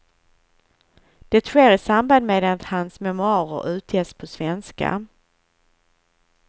Det sker i samband med att hans memoarer utges på svenska.